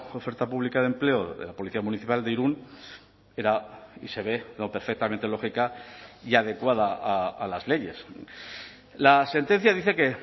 oferta pública de empleo de la policía municipal de irún era y se ve lo perfectamente lógica y adecuada a las leyes la sentencia dice que